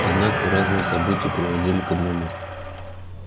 однако разные события приводили к одному